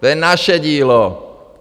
To je naše dílo!